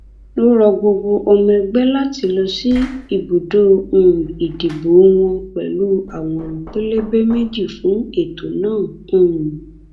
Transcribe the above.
ó rọ gbogbo ọmọ ẹgbẹ láti lọ síbùdó um ìdìbò wọn pẹlú àwòrán pẹlẹbẹ méjì fún ètò náà um